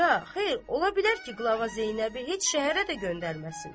Ya, xeyr, ola bilər ki, qlava Zeynəbi heç şəhərə də göndərməsin.